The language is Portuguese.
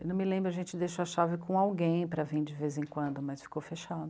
Eu não me lembro, a gente deixou a chave com alguém para vim de vez em quando, mas ficou